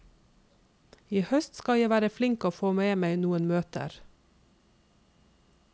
I høst skal jeg være flink og få med meg noen møter.